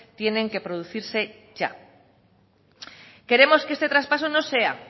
tienen que producirse ya queremos que este traspaso no sea